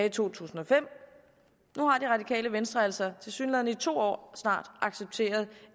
i to tusind og fem nu har det radikale venstre altså tilsyneladende i snart to år accepteret